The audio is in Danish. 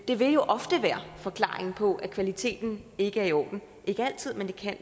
det vil jo ofte være forklaringen på at kvaliteten ikke er i orden ikke altid men det kan